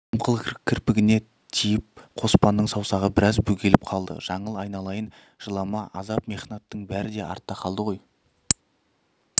дымқыл кірпігіне тиіп қоспанның саусағы біраз бөгеліп қалды жаңыл айналайын жылама азап-мехнаттың бәрі артта қалды ғой